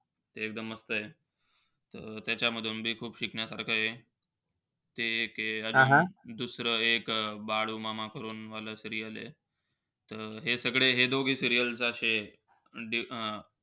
एकदम मस्तयं. त्यांच्यामधून बी खूप शिकण्यासारखं आहे. ते एके. अजून दुसरं एक बाळू मामा करून वाला serial आहे. त हे सगळे हे दोघी serial अशेय.